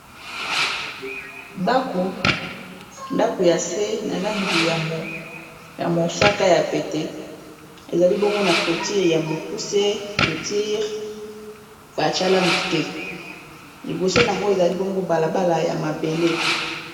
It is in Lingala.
ndaku ya se na langi ya mosaka ya pete ezali bongo na cloture ya mokuse cloture batia langi te liboso nango ezali bongo balabala ya mabele